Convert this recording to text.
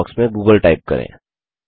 search box में Google type करें